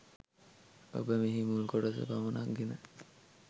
ඔබ මෙහි මුල් කොටස පමනක් ගෙන